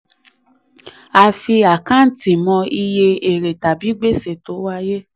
a fi àkáǹtì mọ iye èrè tàbí gbèsè tó wáyé.